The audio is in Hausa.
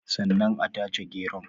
Sannan a tace geron